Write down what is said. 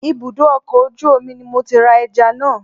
Ibùdó ọkọ̀ ojú omi ni mo ti ra ẹja náà